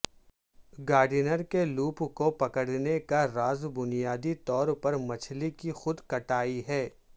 Gardner کے loop کو پکڑنے کا راز بنیادی طور پر مچھلی کی خود کٹائی ہے